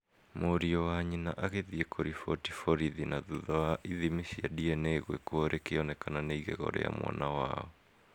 mũriũ wa nyina agĩthiĩ kũriboti borithi na thutha wa ithimi cia DNA gwikwo rĩkĩonekana nĩ ĩgego rĩa mwana wao